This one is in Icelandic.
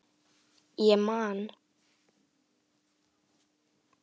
Ég man.